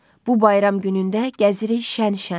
Bu bayram günündə gəzirik şə-şən.